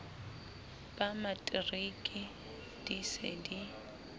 ba matriki di se di